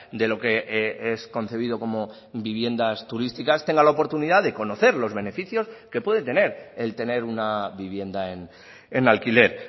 de lo que es concebido como viviendas turísticas tenga la oportunidad de conocer los beneficios que puede tener el tener una vivienda en alquiler